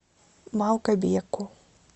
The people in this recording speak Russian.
малгобеку